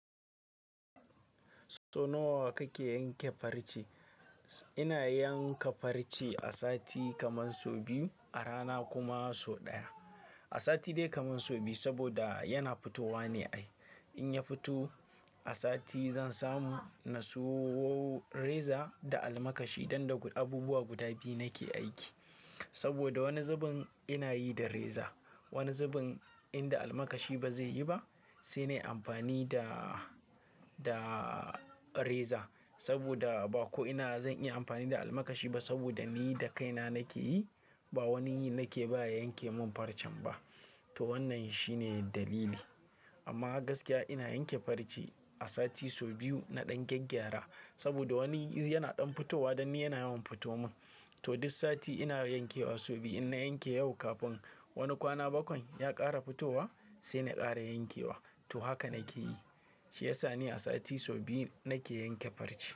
So nawa kake yanke farce? Ina yanka farce a sati kamar sau biyu, a rana kuma sau ɗaya. A sati dai kamar sau biyu saboda yana fitowa ne ai. In ya fito, a sati zan samu na siyo reza da almakashi dan da abubuwa guda biyu nake aiki. Saboda wani zubin ina yi da reza, wani zubin in da almakashi ba zai yi ba, sai nai amfani da, da reza. Saboda ba ko ina zan iya amfani da almakashi ba saboda ni da kaina nake yi, ba wani nake ba ya yanke min farcen ba. To wannan shine dalili. Amma gaskiya ina yanke farce a sati sau biyu na ɗan gyaggyara saboda wani yana ɗan fitowa dan ni yana yawan fitowa mun. To duk sati ina yankewa sau biyu. In na yanke yau kafin wani kwana bakwai ya ƙara fitowa, sai na ƙara yankewa. To haka nake yi. Shi yasa ni a sati sau biyu nake yanke farce.